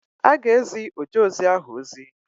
Ọ ga-ezi ojeozi ahụ ozi.